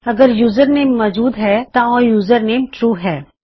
ਅਗਰ ਯੂਜਰਨੇਮ ਮੌਜੂਦ ਹੈ ਤਾਂ ਉਹ ਯੂਜਰਨੇਮ ਟਰੂ ਹੈ